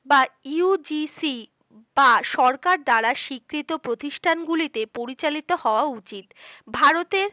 বা UGC বা সরকার দ্বারা স্বীকৃত প্রতিষ্ঠান গুলি তে পরিচালিত হওয়া উচিত ভারতের